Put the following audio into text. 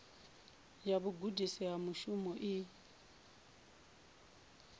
ya vhugudisi ha mushumo i